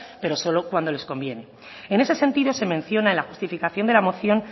pero solo cuando les conviene en ese sentido se menciona en la justificación de la moción